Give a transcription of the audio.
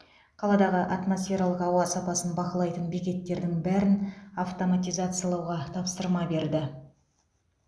қаладағы атмосфералық ауа сапасын бақылайтын бекеттердің бәрін автоматизациялауға тапсырма берді